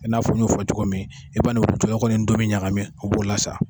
I n'a fɔ n y' o fɔ cogo min e m'a n'o jɔ kɔni ni ndomi ɲagamin o b'o lasa